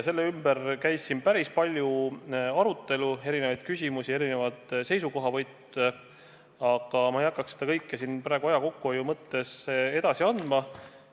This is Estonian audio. Selle ümber tekkis päris pikk arutelu, kõlas erinevaid küsimusi ja erinevaid seisukohavõtte, aga ma ei hakka seda kõike siin aja kokkuhoiu mõttes edasi andma.